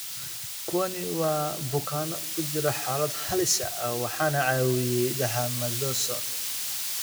Kuwani waa bukaanno ku jira xaalad halis ah waxaana caawiyay dexamethasone.